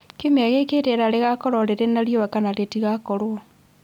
Kiumia gĩkĩ rĩera rĩgakorwo rĩrĩ na riũa kana rĩtigakorwo